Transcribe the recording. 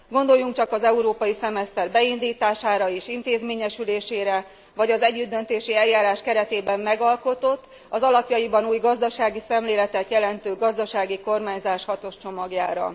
Gondoljunk csak az európai szemeszter beindítására és intézményesülésére, vagy az együttdöntési eljárás keretében megalkotott, az alapjaiban új gazdasági szemléletet jelentő gazdasági kormányzás hatos csomagjára.